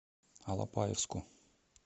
алапаевску